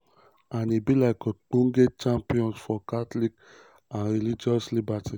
and e be ogbonge champion for catholics and religious liberty".